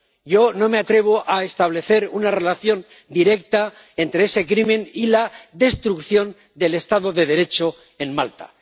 Yo no me atrevo a establecer una relación directa entre ese crimen y la destrucción del Estado de Derecho en Malta.